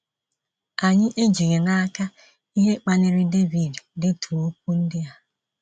Anyị ejighị n’aka ihe kpaliri Devid idetu okwu ndị a.